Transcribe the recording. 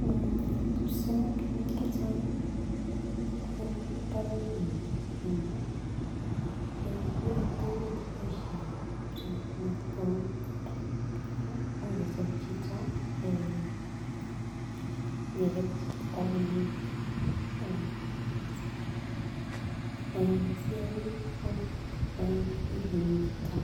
Mmmh kipsomaninik chechangi en barakuni nyon bo Kenya eeh koyoe tukuk cheboishen kipsomaninik kou kele imuch kosir chito eeh ngelel kosir kitabut neu eeh CRE eh CRE kokonu eeh okilinyin chito